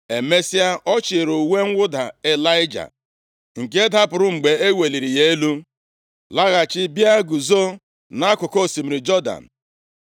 Emesịa, ọ chịlịri uwe mwụda Ịlaịja nke dapụrụ mgbe e weliri ya elu, laghachi bịa guzo nʼakụkụ osimiri Jọdan.